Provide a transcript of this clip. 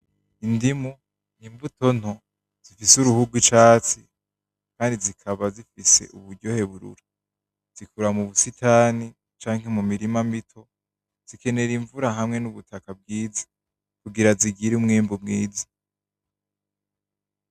Indimu imbuto nto, zifise uruhu rwicatsi Kandi zikaba zifise uburyohe burura .Uzikura mumisitane ,canke mumurima mito zikenera imvura hamwe n'ubutaka bwiza ,kugira zigire umwimbu mwiza